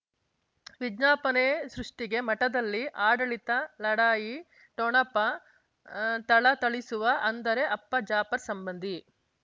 ವಿಜ್ಞಾಪನೆ ಸೃಷ್ಟಿಗೆ ಮಠದಲ್ಲಿ ಆಡಳಿತ ಲಢಾಯಿ ಠೊಣಪ ಥಳಥಳಿಸುವ ಅಂದರೆ ಅಪ್ಪ ಜಾಫರ್ ಸಂಬಂಧಿ